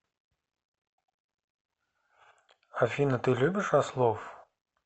афина ты любишь ослов